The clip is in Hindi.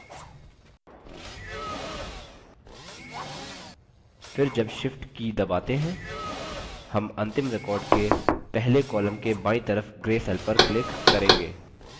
फिर जब shift की दबाते हैं हम अंतिम record के पहले column के बायीं तरफ gray cell पर click करेंगे